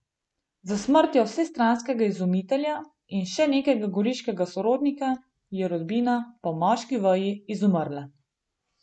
S smrtjo vsestranskega izumitelja in še nekega goriškega sorodnika je rodbina po moški veji izumrla.